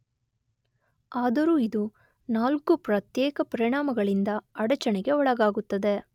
ಆದರೂ ಇದು ನಾಲ್ಕು ಪ್ರತ್ಯೇಕ ಪರಿಣಾಮಗಳಿಂದ ಅಡಚಣೆಗೆ ಒಳಗಾಗುತ್ತದೆ